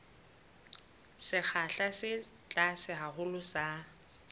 sekgahla se tlase haholo sa